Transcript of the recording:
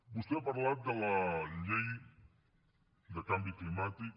vostè ha parlat de la llei de canvi climàtic